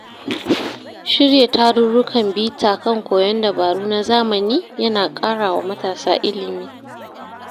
Shirya tarurrukan bita kan koyon dabaru na zamani ya na ƙara wa matasa ilimi.